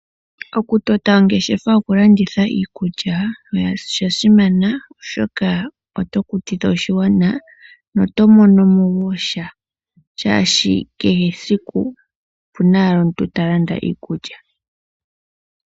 Okutota ongeshefa yokulanditha iikulya osha simana, oshoka oto kutitha oshigwana noto mono mo wo sha, shaashi kehesiku opu na owala omuntu ta landa iikulya.